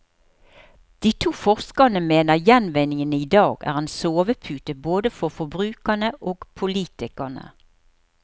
De to forskerne mener gjenvinningen i dag er en sovepute både for forbrukerne og politikerne.